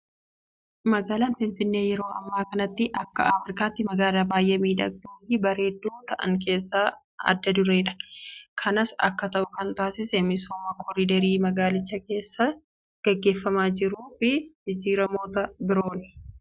Magaalaan Finfinnee yeroo ammaa kanatti Akka Afrikaatti magaalaa baay'ee miidhagduu fi bareedduu ta'an keessaa adda dureedha. Kanas Akka ta'u kan taasise misooma koriidarii magaalicha keessatti gaggeeffamaa jiruu fi jijjiiramoota birooni.